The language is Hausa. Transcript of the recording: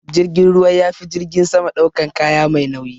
Jirgin ruwa yafi jirgin sama daukan kaya mai nauyi.